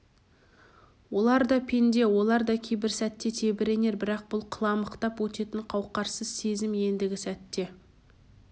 олар да пенде олар да кейбір сәтте тебіренер бірақ бұл қыламықтап өтетін қауқарсыз сезім ендігі сәтте